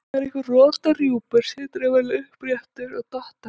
Þegar einhver rotar rjúpur situr hann venjulega uppréttur og dottar.